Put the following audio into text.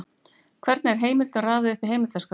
Hvernig er heimildum raðað upp í heimildaskrá?